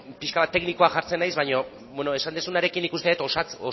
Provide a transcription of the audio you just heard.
pixka bat teknikoa jartzen naiz baina bueno esan duzunarekin nik uste dut